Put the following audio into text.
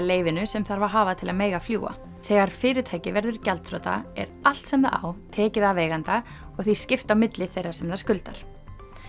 leyfinu sem þarf að hafa til að mega fljúga þegar fyrirtæki verður gjaldþrota er allt sem það á tekið af eiganda og því skipt á milli þeirra sem það skuldar